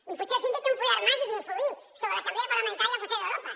i potser el síndic té un poder màgic d’influir sobre l’assemblea parlamentària del consell d’europa